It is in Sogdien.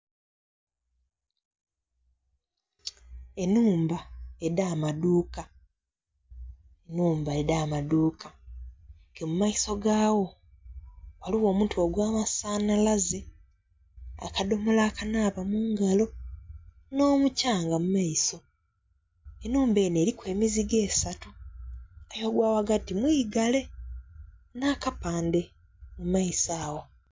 Enhumba edha maduuka, nhumba edha maduuka ke mu maiso ga dho ghaligho omuti ogwa masanhalaze, akadomola akanaaba mungalo nho'kyanga mu maiso, enhumba enho eriku emiziigo esatu aye ogwa ghagati mwigale na'kampandhe mu maiso agho.